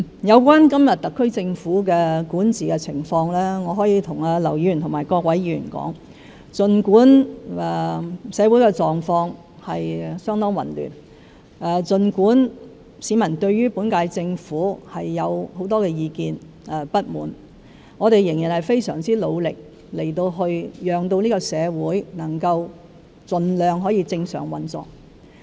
有關今天特區政府的管治情況，我可以向劉議員及各位議員說，儘管社會狀況相當混亂，儘管市民對本屆政府有很多意見和不滿，我們仍然非常努力，希望盡量令社會可以正常運作。